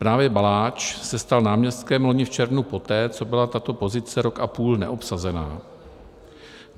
Právě Baláč se stal náměstkem loni v červnu, poté co byla tato pozice rok a půl neobsazena.